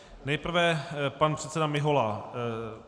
Nejprve pan předseda Mihola.